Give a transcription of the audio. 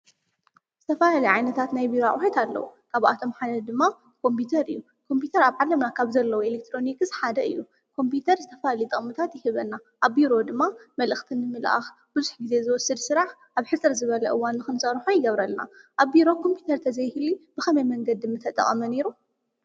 ዝተፈላለዩ ዓይነታት ናይ ቢሮ አቁሑት ኣለው። ካብኣቶም ሓደ ደማ ኮምፒተር እዩ። ኮምፒተር ኣብ ዓለምና ካብ ዘለዉ ኤሌትረነክስ ሓደ እዩ። ኮምፒተር ዝተፈላለዩ ጥቅምታት ይህበና። ኣብ ቢሮ ድማ መልእክቲ ንምልአካ ቡዙሕ ግዜ ዝወሰድ ሰራሕ ኣብ ሕጽር ዝበለ እዋን ንክንስርሖ ይገብረና። ኣብ ቢሮ ኮምፒተር ተዘይህሉ ብከመይ መንገዲ ምተጠቀመ ነይሩ?